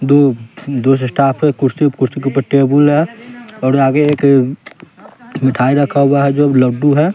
दो दो से स्टाफ हैं कुर्सी कुर्सी के ऊपर टेबल है और आगे एक मिठाई रखा हुआ है जो लड्डू है।